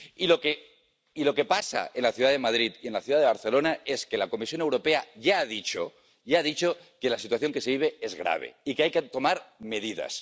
Y lo que pasa en la ciudad de Madrid y en la ciudad de Barcelona es que la Comisión Europea ya ha dicho —ya ha dicho— que la situación que se vive es grave y que hay que tomar medidas.